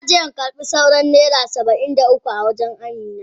Na je in karba sauran naira Saba'in da uku a wajen amina.